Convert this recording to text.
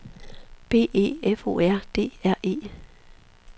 B E F O R D R E